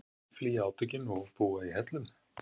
Flýja átökin og búa í hellum